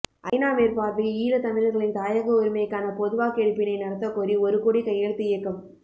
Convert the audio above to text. ஐநா மேற்பார்வையில் ஈழத்தமிழர்களின் தாயக உரிமைக்கான பொதுவாக்கெடுப்பினை நடத்தக்கோரி ஒரு கோடி கையெழுத்து இயக்கம்